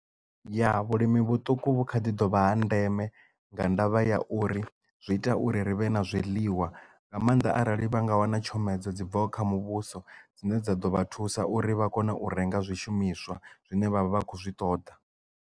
Ya vhulimi vhuṱuku vhu kha ḓi dovha ha ndeme nga ndavha ya uri zwi ita uri ri vhe na zwiḽiwa nga maanḓa arali vha nga wana tshomedzo dzi bvaho kha muvhuso dzine dza ḓo vha thusa uri vha kone u renga zwishumiswa zwine vha vha vha khou zwi ṱoḓa.